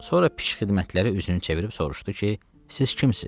Sonra pişxidmətlərə üzünü çevirib soruşdu ki, siz kimsiz?